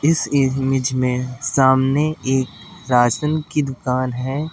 इस इमेज में सामने एक राशन की दुकान है।